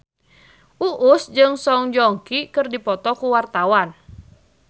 Uus jeung Song Joong Ki keur dipoto ku wartawan